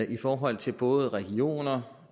i forhold til både regioner